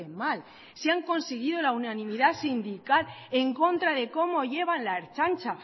mal si han conseguido la unanimidad sindical en contra de cómo llevan la ertzaintza